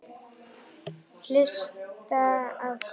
Hlusta á hvað?